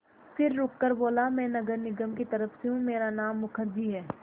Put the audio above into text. फिर रुककर बोला मैं नगर निगम की तरफ़ से हूँ मेरा नाम मुखर्जी है